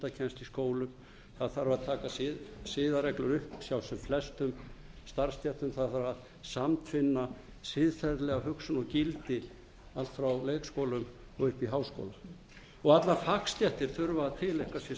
í skólum það þarf að taka siðareglur upp hjá sem flestum starfsstéttum það þarf að samtvinna siðferðilega hugsun og gildi allt frá leikskólum og upp í háskóla allar fagstéttir þurfa að tileinka